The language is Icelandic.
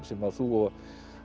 sem að þú og